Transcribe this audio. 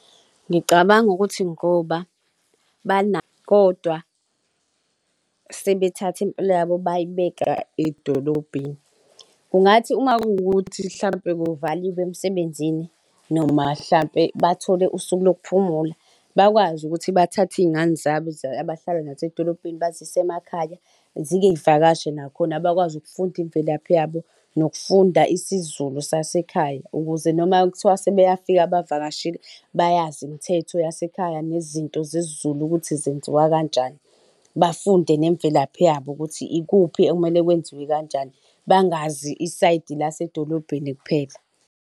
Ngicabanga ukuthi ngoba kodwa sebethatha impilo yabo bayibeka edolobheni. Kungathi uma kuwukuthi mhlampe kuvaliwe emsebenzini noma mhlampe bathole usuku lokuphumula, bakwazi ukuthi bathathe iy'ngane zabo abahlala nazo emadolobheni bazise emakhaya zike zivakashe nakhona abakwazi ukufunda imvelaphi yabo nokufunda isiZulu sasekhaya, ukuze noma kuthiwa sebayafika bavakashile bayazi imthetho yasekhaya nezinto zesiZulu ukuthi zenziwa kanjani. Bafunde nemvelaphi yabo ukuthi ikuphi ekumele kwenziwe kanjani, bangazi isayidi lasedolobheni kuphela.